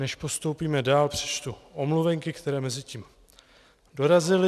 Než postoupíme dál, přečtu omluvenky, které mezitím dorazily.